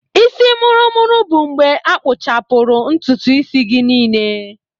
Isi mụrụ-mụrụ bụ mgbe a akpụchapuru ntutu isi gị niile.